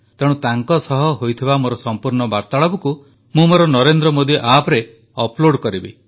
ତେଣୁ ତାଙ୍କ ସହ ହୋଇଥିଲା ମୋର ସମ୍ପୂର୍ଣ୍ଣ ବାର୍ତାଳାପକୁ ମୁଁ ମୋର ନରେନ୍ଦ୍ର ମୋଦୀ ଆପ୍ ରେ ଅପ୍ଲୋଡ କରିବି